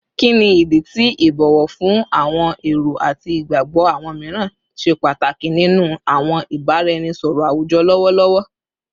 Kini idi ti ibowo fun awọn ero ati igbagbọ awọn miiran ṣe pataki ninu awọn ibaraenisọrọ awujọ lọwọlọwọ?